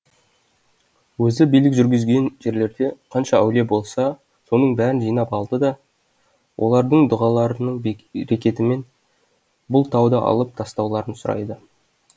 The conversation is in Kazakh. өзі билік жүргізген жерлерде қанша әулие болса соның бәрін жинап алды да олардың дұғаларының берекетімен бұл тауды алып тастауларын сұрайды